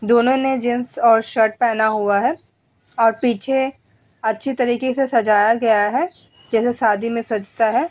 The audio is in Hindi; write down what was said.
दोनों ने जेन्स और शर्ट पहना हुआ है और पीछे अच्छी तरीके से सजाया गया है जैसे शादी में सजता है।